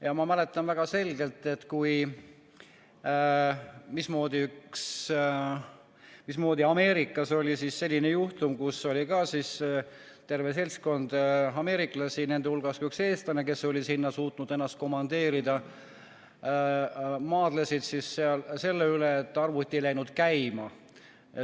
Ja ma mäletan väga selgelt, kui Ameerikas oli selline juhtum, kus terve seltskond ameeriklasi, nende hulgas ka üks eestlane, kes oli sinna suutnud ennast komandeerida, maadles sellega, et arvuti ei läinud käima.